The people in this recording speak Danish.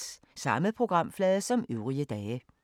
Samme programflade som øvrige dage